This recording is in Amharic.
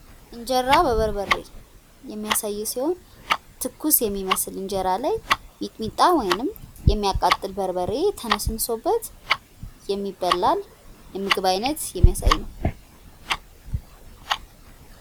እንጀራ በበርበሬ የሚያሳይ ሲሆን ትኩስ የሚመስል እንጀራ ላይ ሚጥሚጣ ወይም የሚያቃጥል በርበሬ ተነስንሶበት የሚበላን የምግብ አይነት የሚያሳይ ነው።